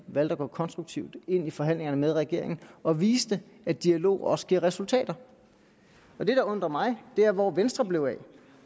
valgte at gå konstruktivt ind i forhandlingerne med regeringen og viste at dialog også giver resultater det der undrer mig er hvor venstre blev af